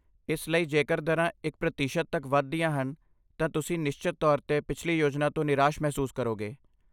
ਇਸ ਲਈ, ਜੇਕਰ ਦਰਾਂ ਇਕ ਪ੍ਰਤੀਸ਼ਤ ਤੱਕ ਵਧਦੀਆਂ ਹਨ ਤਾਂ ਤੁਸੀਂ ਨਿਸ਼ਚਤ ਤੌਰ 'ਤੇ ਪਿਛਲੀ ਯੋਜਨਾ ਤੋਂ ਨਿਰਾਸ਼ ਮਹਿਸੂਸ ਕਰੋਗੇ